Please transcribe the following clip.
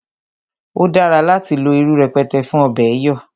O dára láti lo irú pẹ̀tẹ̀ fún ọ̀bẹ̀ẹ̀ yọ̀